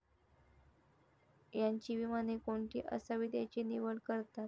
यांची विमाने कोणती असावीत याची निवड करतात.